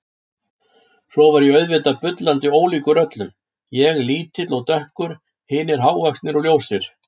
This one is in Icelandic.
Svo var ég auðvitað bullandi ólíkur öllum, ég lítill og dökkur, hinir hávaxnir og ljósir.